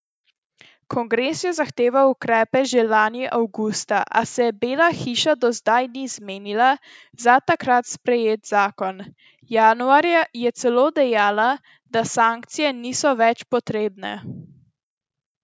Kongres je zahteval ukrepe že lani avgusta, a se Bela hiša do zdaj ni zmenila za takrat sprejet zakon, januarja je celo dejala, da sankcije niso več potrebne.